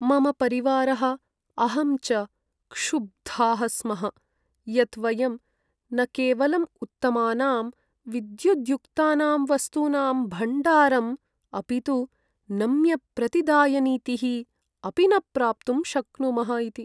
मम परिवारः अहं च क्षुब्धाः स्मः यत् वयं न केवलं उत्तमानां विद्युद्युक्तानां वस्तूनां भण्डारम् अपि तु नम्यप्रतिदायनीतीः अपि न प्राप्तुं शक्नुमः इति।